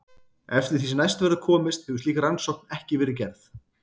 Eftir því sem næst verður komist hefur slík rannsókn ekki verið gerð.